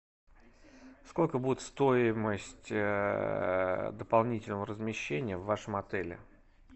сколько будет стоимость дополнительного размещения в вашем отеле